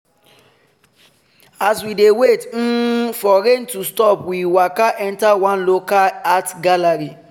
as we dey wait um for rain to stop we waka enter one local art gallery.